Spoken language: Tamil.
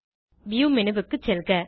வியூ மேனு க்கு செல்க